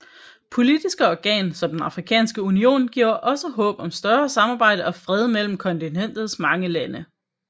Politiske organ som den afrikanske union giver også håb om større samarbejde og fred mellem kontinentets mange lande